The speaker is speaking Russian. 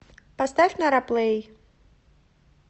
поставь нара плэй